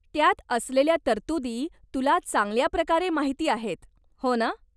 त्यात असलेल्या तरतुदी तुला चांगल्याप्रकारे माहिती आहेत, हो ना?